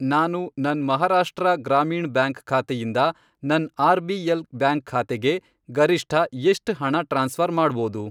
ನಾನು ನನ್ ಮಹಾರಾಷ್ಟ್ರ ಗ್ರಾಮೀಣ್ ಬ್ಯಾಂಕ್ ಖಾತೆಯಿಂದ ನನ್ ಆರ್.ಬಿ.ಎಲ್. ಬ್ಯಾಂಕ್ ಖಾತೆಗೆ ಗರಿಷ್ಠ ಎಷ್ಟ್ ಹಣ ಟ್ರಾನ್ಸ್ಫ಼ರ್ ಮಾಡ್ಬೋದು?